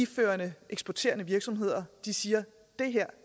førende eksporterende virksomheder siger